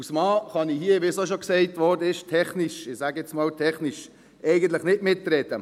Als Mann kann ich hier, wie auch schon gesagt wurde, technisch – ich sage jetzt einmal, technisch – eigentlich nicht mitreden.